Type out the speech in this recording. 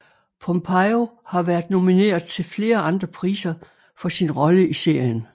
Pompeo har været nomineret til flere andre priser for sin rolle i serien